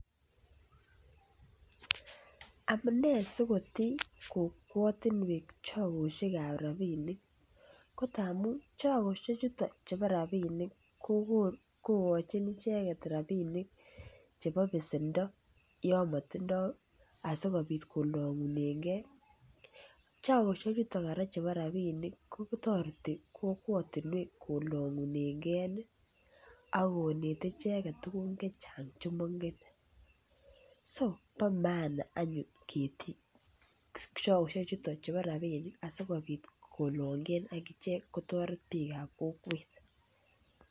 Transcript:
Amune si kotii kokwatinwek chogosiek ab rabinik ko amun Chagosyek chuton chebo rabinik kogochin icheget rabinik chebo besendo yon motindoi asikobit kolongunengei chogosiek chuton kora chebo rabinik ko toreti kokwatinwek kolongunengei ak konete icheget tuguk Che Chang Che maingen so bo maana anyun ketii chogosiek chuton chubo rabinik asi kolongen agichek kabatik ak kotoret bikab kokwet